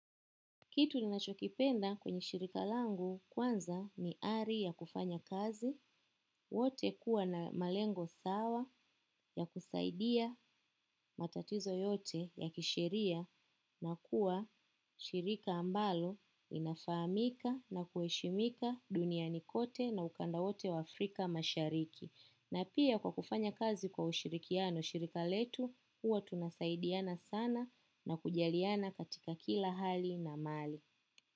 Kitu ni nachokipenda kwenye shirika langu kwanza ni ari ya kufanya kazi, wote kuwa na malengo sawa ya kusaidia matatizo yote ya kisheria na kuwa shirika ambalo inafahamika na kuheshimika dunia ni kote na ukanda wote wa Afrika mashariki. Na pia kwa kufanya kazi kwa ushirikiano shirika letu, huwa tunasaidiana sana na kujaliana katika kila hali na mali.